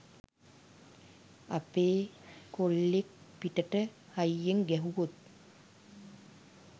අපේ කොල්ලෙක් පිටට හයියෙන් ගැහුවොත්